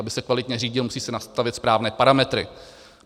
Aby se kvalitně řídil, musí se nastavit správné parametry.